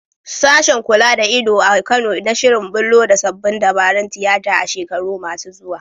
Sashen kula da ido a Kano na shirin bullo da sabbin dabarun tiyata a shekaru masu zuwa.